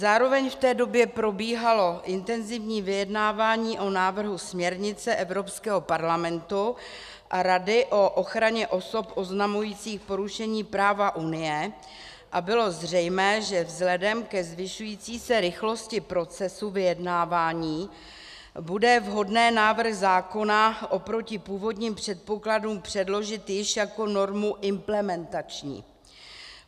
Zároveň v té době probíhalo intenzivní vyjednávání o návrhu směrnice Evropského parlamentu a Rady o ochraně osob oznamujících porušení práva Unie a bylo zřejmé, že vzhledem ke zvyšující se rychlosti procesu vyjednávání bude vhodné návrh zákona oproti původním předpokladům předložit již jako normu implementační.